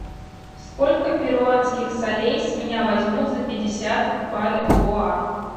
сколько перуанских солей с меня возьмут за пятьдесят бальбоа